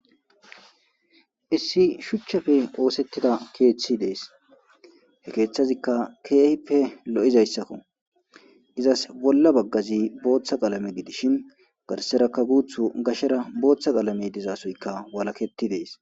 Issi shuchchafe qoosettida keeththi dees he keeththazikka keehippe lo'izayssakko izas bolla baggazi booththa qalame gidishin garseraka guuth gashara booththa qalamey dizasoykka walaketti dees